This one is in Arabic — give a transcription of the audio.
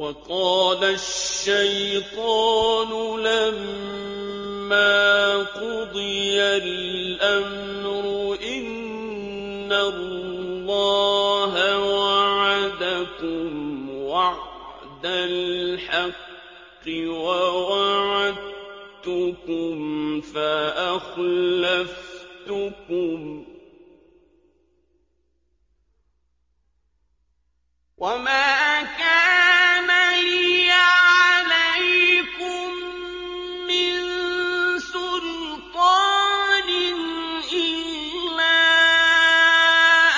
وَقَالَ الشَّيْطَانُ لَمَّا قُضِيَ الْأَمْرُ إِنَّ اللَّهَ وَعَدَكُمْ وَعْدَ الْحَقِّ وَوَعَدتُّكُمْ فَأَخْلَفْتُكُمْ ۖ وَمَا كَانَ لِيَ عَلَيْكُم مِّن سُلْطَانٍ إِلَّا